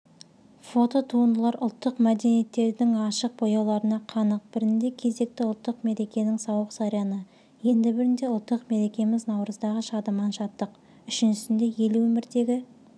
фототуындылар ұлттық мәдениеттердің ашық бояуларына қанық бірінде кезекті ұлттық мерекенің сауық-сайраны енді бірінде ұлттық мерекеміз наурыздағы шадыман шаттық үшіншісінде ел өміріндегі